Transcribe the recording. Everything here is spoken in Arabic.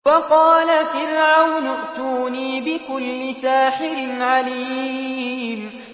وَقَالَ فِرْعَوْنُ ائْتُونِي بِكُلِّ سَاحِرٍ عَلِيمٍ